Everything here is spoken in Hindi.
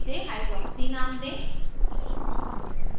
इसे hydroxy name दें